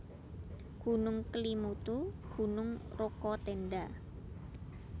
Gunung KelimutuGunung Rokatenda